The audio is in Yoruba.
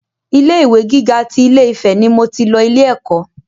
Ilé ìwé gíga tí Ilé-Ifè ni mo tì lọ ilé ẹ̀kọ́